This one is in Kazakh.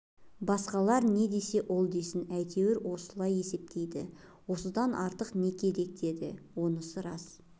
басқалар не десе ол десін әйтеуір солай есептейді осыдан артық не керек дейді онысы рас